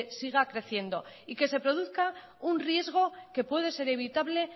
siga creciendo y que se produzca un riesgo que puede ser evitable